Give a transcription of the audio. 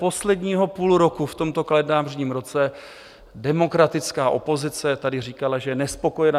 Posledního půl roku v tomto kalendářním roce demokratická opozice tady říkala, že je nespokojená.